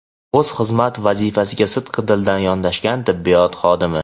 o‘z xizmat vazifasiga sidqidildan yondashgan tibbiyot xodimi.